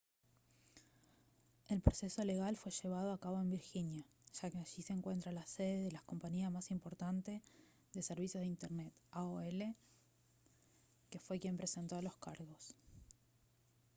el proceso legal fue llevado a cabo en virginia ya que allí se encuentra la sede de la compañía más importante de servicios de internet aol que fue quien presentó los cargos